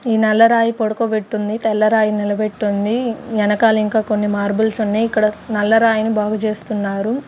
ఈ నల్ల రాయి పడుకోబెట్టుంది తెల్ల రాయి నిలబెట్టుంది ఎనకాల ఇంకా కొన్ని మార్బుల్స్ ఉన్నాయ్ ఇక్కడ నల్ల రాయిని బాగు చేస్తున్నారు.